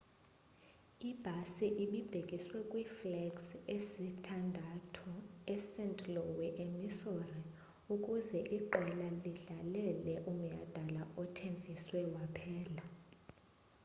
ibhasi ibibhekiswe kwiflegs ezisithandathu est louis emissouri ukuze iqela lidlalele umnyadala othenfiswe waphela